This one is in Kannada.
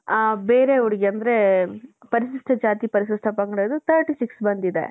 ಆ ಬೇರೆ ಹುಡುಗಿ ಅಂದ್ರೆ ಪರಿಶಿಷ್ಟ ಜಾತಿ ಪರಿಶಿಷ್ಟ ಪಂಗಡದು thirty six ಬಂದಿದೆ .